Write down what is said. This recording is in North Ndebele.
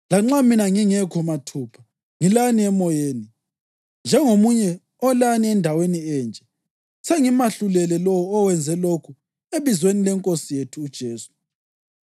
Lanxa mina ngingekho mathupha, ngilani emoyeni. Njengomunye olani endaweni enje, sengimahlulele lowo owenze lokhu ebizweni lenkosi yethu uJesu.